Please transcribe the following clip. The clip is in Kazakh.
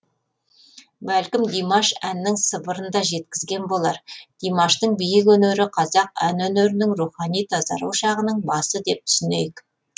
бәлкім димаш әннің сыбырын да жеткізген болар димаштың биік өнері қазақ ән өнерінің рухани тазару шағының басы деп түсінейік